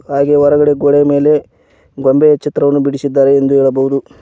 ಹಾಗೆ ಹೊರಗಡೆ ಗೋಡೆ ಮೇಲೆ ಗೊಂಬೆ ಚಿತ್ರವನ್ನು ಬಿಡಿಸಿದ್ದಾರೆ ಎಂದು ಹೇಳಬಹುದು.